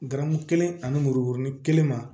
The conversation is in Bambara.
Garamu kelen ani murukuruni kelen ma